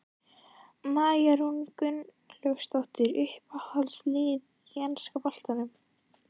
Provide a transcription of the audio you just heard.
María Rún Gunnlaugsdóttir Uppáhalds lið í enska boltanum?